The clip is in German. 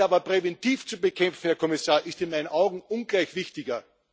Diese aber präventiv zu bekämpfen, Herr Kommissar, ist in meinen Augen ungleich wichtiger.